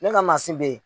Ne ka mansin bɛ yen